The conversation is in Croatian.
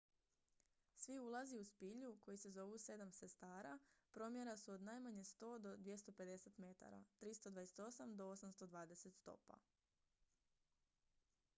"svi ulazi u spilju koji se zovu "sedam sestara" promjera su od najmanje 100 do 250 metara 328 do 820 stopa.